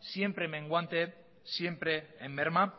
siempre menguante siempre en merma